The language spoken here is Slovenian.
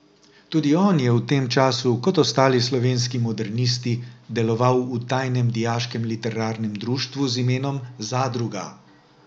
Tudi on je v tem času kot ostali slovenski modernisti deloval v tajnem dijaškem literarnem društvu z imenom Zadruga.